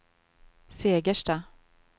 Segersta